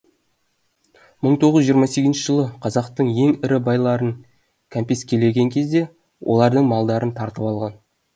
мың тоғыз жүз жиырма сегізінші жылы қазақтың ең ірі байларын кәмпескілеген кезде олардың малдарын тартып алған